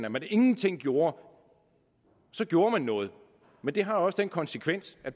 at man ingenting gjorde så gjorde man noget men det har også haft den konsekvens at